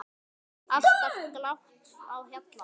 Alltaf glatt á hjalla.